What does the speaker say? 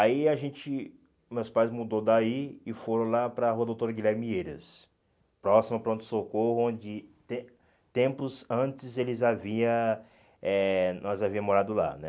Aí a gente, meus pais mudou daí e foram lá para a rua Doutor Guilherme Vieiras, próximo ao pronto-socorro, onde tem tempos antes eles havia eh nós havíamos morado lá, né?